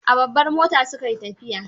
A babbar mota su kai tafiyar.